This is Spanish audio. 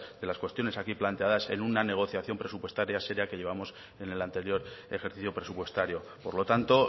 de las cuestiones aquí planteadas en una negociación presupuestaria seria que llevamos en el anterior ejercicio presupuestario por lo tanto